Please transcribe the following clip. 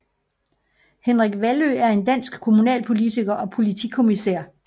Henrik Vallø er en dansk kommunalpolitiker og politikommissær